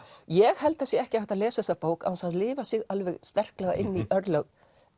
ég held að það sé ekki hægt að lesa þessa bók án þess að lifa sig alveg sterklega inn í örlög